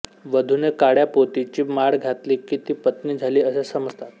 वधूने काळ्या पोतीची माळ घातली की ती पत्नी झाली असे समजतात